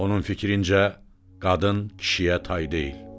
Onun fikrincə, qadın kişiyə tay deyil.